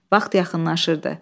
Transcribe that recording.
Vaxt yaxınlaşırdı.